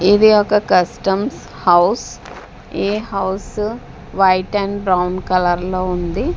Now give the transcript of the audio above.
ఇది ఒక customs house a house white and brown colour లో ఉంది.